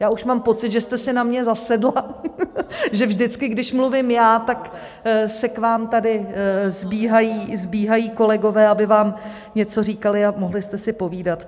Já už mám pocit, že jste si na mě zasedla, že vždycky, když mluvím já, tak se k vám tady sbíhají kolegové, aby vám něco říkali a mohli jste si povídat.